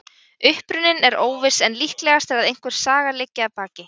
Uppruninn er óviss en líklegast er að einhver saga liggi að baki.